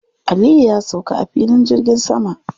Aliyu ya sauka a filin jirgin sama.